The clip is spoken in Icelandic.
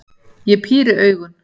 Ég píri augun.